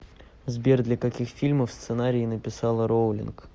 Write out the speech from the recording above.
сбер для каких фильмов сценарии написала роулинг